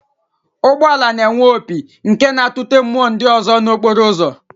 Ụgbọala na-enwe opi nke na-atụte mmụọ ndị ọzọ nọ n'okporo ụzọ